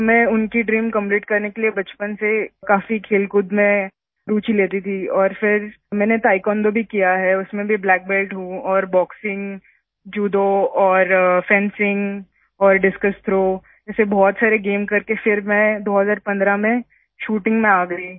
तो मैं उनकी ड्रीम कंप्लीट करने के लिए बचपन से काफी खेलकूद में रूचि लेती थी और फिर मैंने ताएक्वोंडो भी किया है उसमें भी ब्लैक बेल्ट हूँ और बॉक्सिंग जुडो और फेंसिंग और डिस्कस थ्रो जैसे बहुत सारे गेम्स करके फिर मैं 2015 में शूटिंग में आ गयी